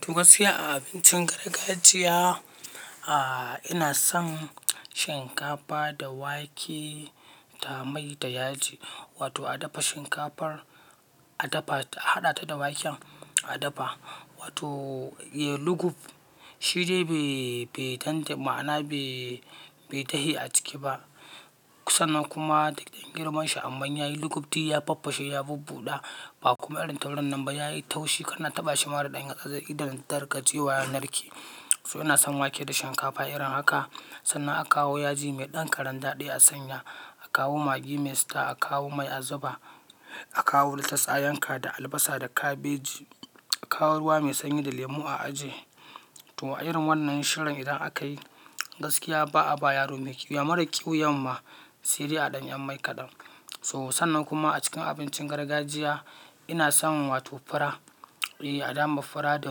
Tuh, gaskiya a abincin gargajiya, ah, ina son shinkafa da wake da mai da yaji. Wato a dafa shinkafar, a dafa ta, haɗa ta da waken a dafa. Wato, ye, luguf shi dai bai, bai tan- ma'ana bai, bai dahe a ciki ba. Sannan kuma, duk da girman shi amma yayi luguf, di ya faffashe, ya bubbuɗa ba kuma irin taurin nan ba. Yayi taushi kana taɓa shi ma da ɗan yatsa zai. Idan ka daina rage wa, ya narke. So ina son wake da shinkafa irin haka. Sannan a kawo yaji mai ɗan karandadi a sanya. A kawo magi mai sita. A kawo mai a zuba. Akawo latas a yanka da albasa da kabeji a kawo ruwa mai sanyi da lemu a aje. To a irin wannan shirin idan akayi gaskiya ba a ba yaro mai ƙyu, ya mara ƙyu yamma. Sai dai a ɗan yan mai kaɗan. So sannan kuma a cikin abincin gargajiya ina son wato fura. Eh a dama fura da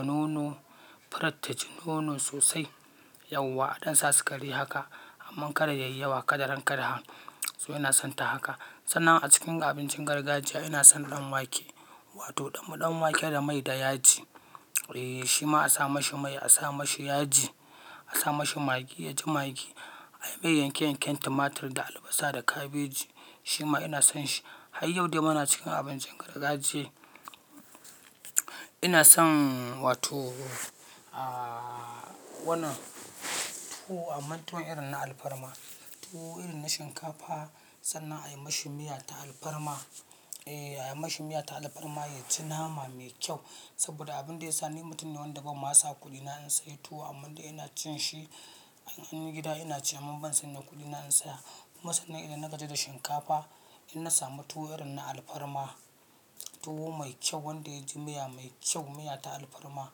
nono. Furar ta ji nono sosai yauwa a don sa su kari haka. Amma kada yayi yawa, kada rankadahan. So ina sonta haka. Sannan a cikin abincin gargajiya ina son ɗan wake. Wato ɗan, ɗan wake da mai da yaji. Eh shi ma a sa mashi mai, a sa mashi yaji, a sa mashi magi, ya ji magi. A yi mai yanke-yanken tumatir da albasa da kabeji. Shi ma ina son shi. Har yau dai muna cikin abincin gargajiya. Inason wato aa toh wannan tuwo amma tuwon irin na alfarma tuwo irin na shinkafa sannan a yi mashi miya ta alfarma. Eh a yi mashi miya ta alfarma ya ci nama mai kyau. Saboda abin da ya sa ni mutum ne wanda bamma sa kuɗina in sayi tuwo amman dai ina cin shi in anyi gida inaci amma ban sanya kuɗina in saya. Kuma sannan idan na gaji da shinkafa, in na samu tuwo irin na alfarma, tuwo mai kyau wanda ya ji miya mai kyau, miya ta alfarma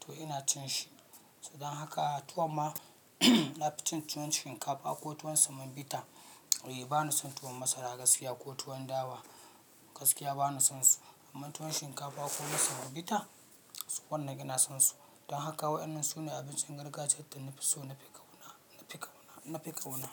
to ina cin shi. Dan haka tuwo ma na fi cin tuwon shinkafa ko tuwon semobita. Eh ba na son tuwo masara gaskiya ko tuwon dawa gaskiya ba na son su. Amma tuwon shinkafa ko na semobita, su wannan ina son su. Don haka waɗannan su ne abincin gargajiyar da na fi so na fi ƙauna, na fi ƙauna, na fi ƙauna.